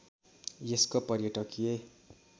यसको पर्यटकीय